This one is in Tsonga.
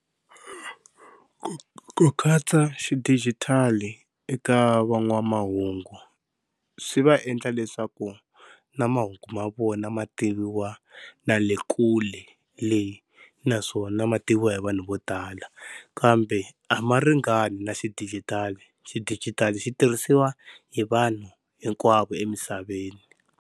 Ku katsa xidijitali eka van'wamahungu swi va endla leswaku na mahungu ma vona ma tiviwa na le kule le, naswona mativiwa hi vanhu vo tala kambe a ma ringani na xidigitali, xidijitali xi tirhisiwa hi vanhu hinkwavo emisaveni.